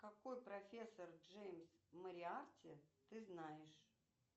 какой профессор джеймс мориарти ты знаешь